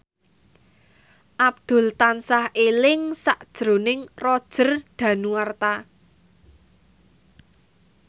Abdul tansah eling sakjroning Roger Danuarta